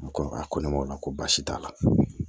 U ko a ko ne ma o la ko baasi t'a la